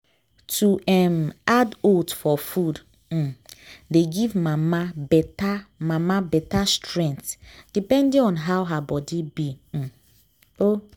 to um add oats for food um dey give mama better mama better strength depending on how her body be um o.